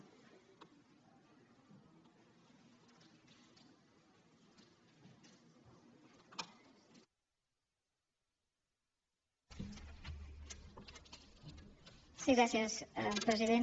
sí gràcies president